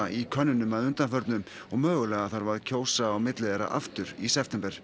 í könnunum að undanförnu og mögulega þarf að kjósa á milli þeirra aftur í september